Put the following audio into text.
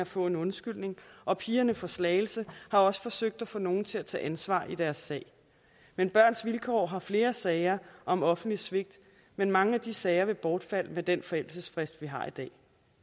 få en undskyldning og pigerne fra slagelse har også forsøgt at få nogen til at tage ansvar i deres sag men børns vilkår har flere sager om offentligt svigt men mange af de sager vil bortfalde med den forældelsesfrist vi har i dag